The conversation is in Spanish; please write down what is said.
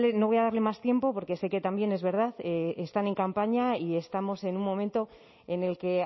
no voy a darle más tiempo porque sé que también es verdad están en campaña y estamos en un momento en el que